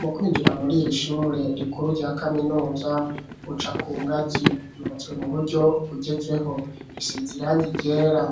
Mu kwinjira muri ir'ishure rikuru rya kaminuza uca kungazi yubatswe mu buryo bugezeho, risize irangi ryera